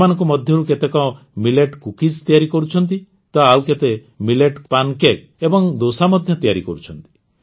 ଏମାନଙ୍କ ମଧ୍ୟରୁ କେତେକ ମିଲେଟ୍ କୁକିଜ୍ ତିଆରି କରୁଛନ୍ତି ତ ଆଉ କେତେ ମିଲେଟ୍ସ୍ ପାନ୍ କେକ୍ସ ଏବଂ ଦୋସା ମଧ୍ୟ ତିଆରି କରୁଛନ୍ତି